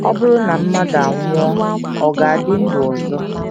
Ọ bụrụ na mmadụ anwụọ, ọ̀ ga - adị ndụ ọzọ?...